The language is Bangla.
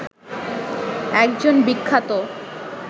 একজন বিখ্যাত